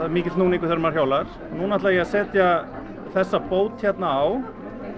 er mikill núningur þegar maður hjólar núna ætla ég að setja þessa bót hérna á